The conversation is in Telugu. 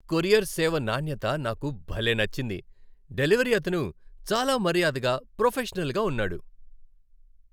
కొరియర్ సేవ నాణ్యత నాకు భలే నచ్చింది, డెలివరీ అతను చాలా మర్యాదగా ప్రొఫెషనల్‌గా ఉన్నాడు.